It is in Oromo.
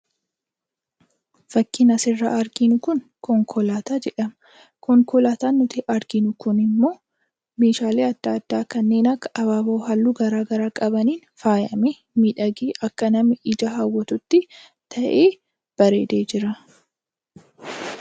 Fakkiin asirraa arginu Kun, konkolaataa jedhama. Konkolaataan nuti arginu Kun immoo Meeshaalee addaa addaa kanneen akka abaaboo halluu garaagaraa qabaniin faayamee, miidhagee akka namni ija hawwatutti ta'ee babbareedee jira.